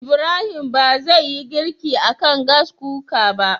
Ibrahim ba zai yi girki akan Gas Cooker ba